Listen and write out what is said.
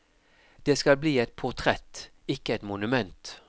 Det skal bli et portrett, ikke et monument.